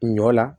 Ɲɔ la